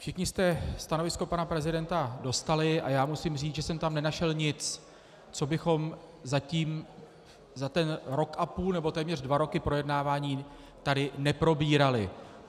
Všichni jste stanovisko pana prezidenta dostali a já musím říct, že jsem tam nenašel nic, co bychom zatím za ten rok a půl nebo téměř dva roky projednávání tady neprobírali.